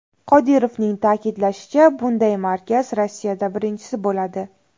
Qodirovning ta’kidlashicha, bunday markaz Rossiyada birinchisi bo‘ladi.